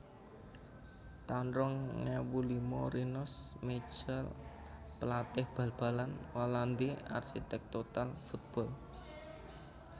taun rong ewu lima Rinus Michels pelatih bal balan Walandi arsitek total football